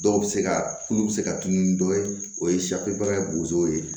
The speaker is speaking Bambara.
Dɔw bɛ se ka tulu bɛ se ka tunu ni dɔ ye o ye ye